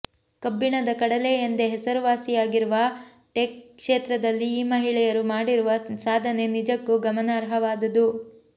ಕಬ್ಬಿಣದ ಕಡಲೆ ಎಂದೇ ಹೆಸರುವಾಸಿಯಾಗಿರುವ ಟೆಕ್ ಕ್ಷೇತ್ರದಲ್ಲಿ ಈ ಮಹಿಳೆಯರು ಮಾಡಿರುವ ಸಾಧನೆ ನಿಜಕ್ಕೂ ಗಮನಾರ್ಹವಾದುದು